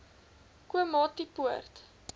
komatipoort